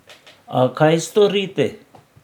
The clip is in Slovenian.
A kaj storiti.